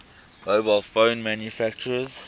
mobile phone manufacturers